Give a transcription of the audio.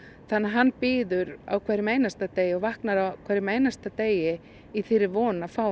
þannig að hann bíður á hverjum einasta degi og vaknar á hverjum einasta degi í þeirri von að fá